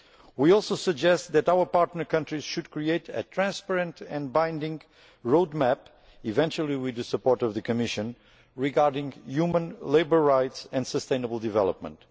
We also suggest that our partner countries should create a transparent and binding road map, possibly with the support of the Commission, regarding human labour rights and sustainable development.